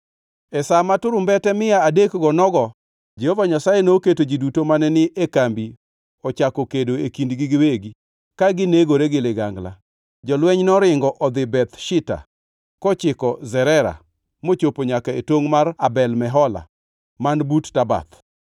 E sa ma turumbete mia adekgo nogoo, Jehova Nyasaye noketo ji duto mane ni e kambi ochako kedo e kindgi giwegi ka ginegore gi ligangla. Jolweny noringo odhi Beth Shitta kochiko Zerera mochopo nyaka e tongʼ mar Abel Mehola man but Tabath.